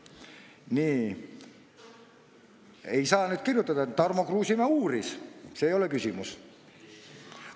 Nii, ei saa rääkida sellest, et Tarmo Kruusimäe uuris, sest see ei ole küsimus.